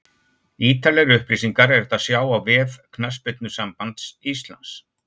Ítarlegri upplýsingar er hægt að sjá á vef Knattspyrnusambands Íslands.